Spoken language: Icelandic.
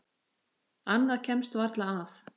Annað kemst varla að.